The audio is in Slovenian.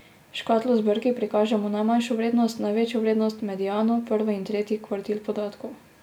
S škatlo z brki prikažemo najmanjšo vrednost, največjo vrednost, mediano, prvi in tretji kvartil podatkov.